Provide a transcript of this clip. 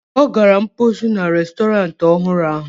Ọ gara mposi na restọrantị ọhụrụ ahụ.